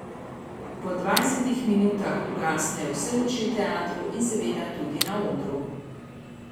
Po dvajsetih minutah ugasnejo vse luči v teatru in seveda tudi na odru.